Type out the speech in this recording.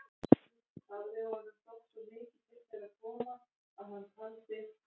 Hafði honum þótt svo mikið til þeirra koma, að hann taldi